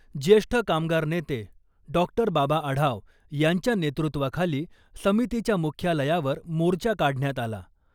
ज्येष्ठ कामगार नेते डॉक्टर बाबा आढाव यांच्या नेतृत्वाखाली समितीच्या मुख्यालयावर मोर्चा काढण्यात आला .